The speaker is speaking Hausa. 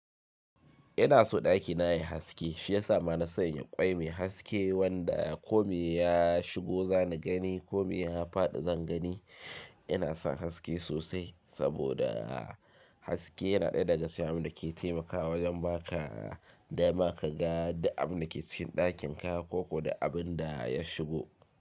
Ina so ɗakina yayi haske shiyasa bana son yin ƙwai mai haske wanda ko me ya shigo zan gani ko me ya faɗi zan gani. Ina son haske sosai saboda haske yana ɗaya daga cikin abinda ke taimakawa wajen ba ka dama ka ga duk abinda ke cikin ɗakin ka ko duk abinda ya shigo.